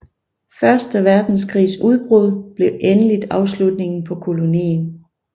Første verdenskrigs udbrud blev endeligt afslutningen på kolonien